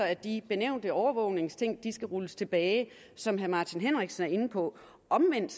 at de nævnte overvågningsting skal rulles tilbage som herre martin henriksen er inde på omvendt